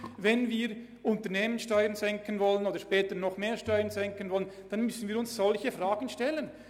Wenn wir die Unternehmenssteuern oder später auch noch andere Steuern senken wollen, müssen wir uns solche Fragen stellen.